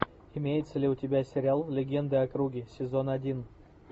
имеется ли у тебя сериал легенды о круге сезон один